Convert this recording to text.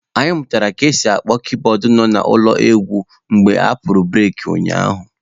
Anyị mụrụ ka esi apị kiibọọdụ n'ọnụ ụlọ egwu mgbe apụrụ bureki ụnyaahụ